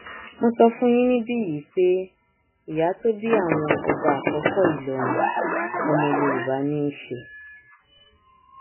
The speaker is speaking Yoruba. mo sọ fún yín níbí yìí pé ìyá tó bí àwọn ọba àkọkọ ìlọrin ọmọ yorùbá ní í ṣe